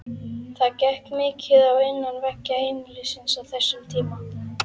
Það gekk mikið á innan veggja heimilisins á þessum tíma.